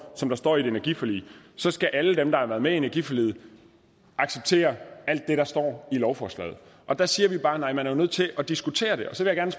som der står i et energiforlig så skal alle dem der er med i energiforliget acceptere alt det der står i lovforslaget og der siger vi bare nej man er jo nødt til at diskutere det så jeg vil